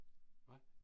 Hvad?